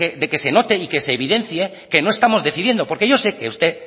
de que se note y se evidencie que no estamos decidiendo porque yo sé que usted